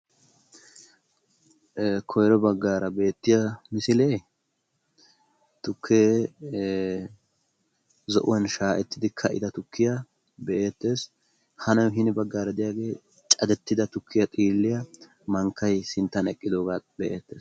Koyro baggaara beettiya misilee tukkee zo'uwan shayettidi ka''ida tukkiya be'eettees. Ha hini baggaara de'iyagee cadettida tukkiya xiilliya mankkay sinttan ewqidoogaa be'ettees.